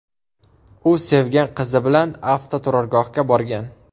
U sevgan qizi bilan avtoturargohga borgan.